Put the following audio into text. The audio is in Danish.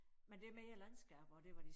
Men det mere landskaber og det hvor de